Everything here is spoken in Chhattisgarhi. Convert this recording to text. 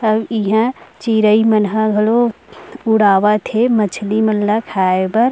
अब यहाँँ चिरई मन ह घलो उड़ावत हे मछली मन खाए बर --